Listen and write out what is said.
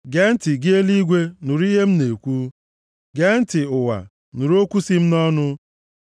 Gee ntị, gị eluigwe, nụrụ ihe m na-ekwu! Gee ntị, ụwa, nụrụ okwu si m nʼọnụ.